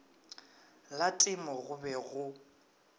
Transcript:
la temo go be go